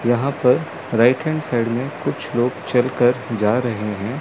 यहां पर right hand side में कुछ लोग चल कर जा रहे हैं।